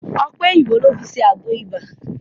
Ọ̀pẹ̀ òyìnbò ló fi ṣe àgbo ibà.